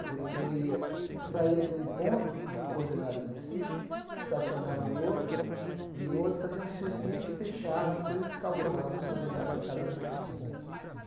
Ele ele ía saía de um ponto com coordenada conhecida, estacionava em outro, em outro, fazia um circuito, fechava, depois eles calculava as coordenada de cada um daqueles pontos.